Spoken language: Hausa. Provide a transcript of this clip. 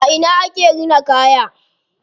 A ina ake rina kaya?